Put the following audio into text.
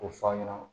K'o fɔ aw ɲɛna